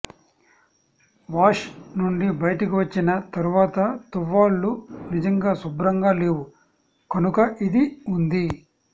wash నుండి బయటకు వచ్చిన తరువాత తువ్వాళ్లు నిజంగా శుభ్రంగా లేవు కనుక ఇది ఉంది